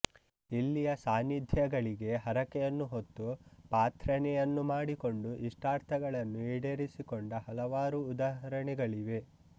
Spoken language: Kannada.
ಇಲ್ಲಿಯ ಸಾನ್ನಿಧ್ಯಗಳಿಗೆ ಹರಕೆಯನ್ನು ಹೊತ್ತು ಪಾಥ್ರ್ರನೆಯನ್ನು ಮಾಡಿಕೊಂಡು ಇಷ್ಟಾರ್ಥಗಳನ್ನು ಈಡೇರಿಸಿಕೊಂಡ ಹಲವಾರು ಉದಾಹರಣೆಗಳಿವೆ